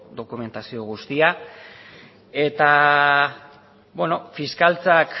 dokumentazio guztia fiskaltzak